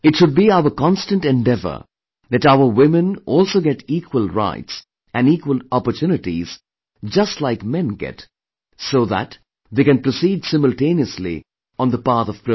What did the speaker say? It should be our constant endeavor that our women also get equal rights and equal opportunities just like men get so that they can proceed simultaneously on the path of progress